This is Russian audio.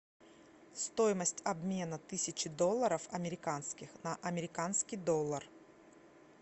стоимость обмена тысячи долларов американских на американский доллар